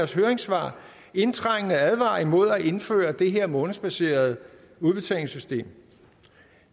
sit høringssvar indtrængende advarer imod at indføre det her månedsbaserede udbetalingssystem